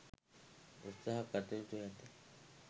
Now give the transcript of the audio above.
උත්සහ ගත යුතුව ඇත